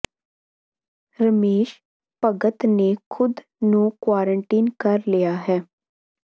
ਰਮੇਸ਼ ਭਗਤ ਨੇ ਖੁਦ ਨੂੰ ਕੁਆਰੰਟਾਈਨ ਕਰ ਲਿਆ ਹੈ